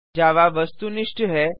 जावा वस्तुनिष्ठहै